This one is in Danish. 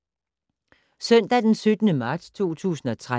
Søndag d. 17. marts 2013